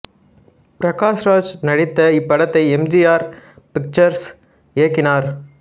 பிரகாஷ் ராஜ் நடித்த இப்படத்தை M G R pictures இயக்கினார்